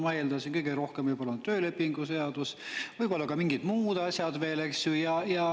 Ma eeldasin, kõige rohkem võib-olla on töölepingu seadus, võib-olla ka mingid muud asjad veel, eks ju.